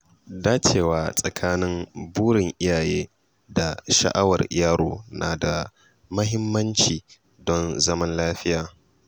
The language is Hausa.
Dacewa tsakanin burin iyaye da sha’awar yaro na da mahimmanci don zaman lafiya.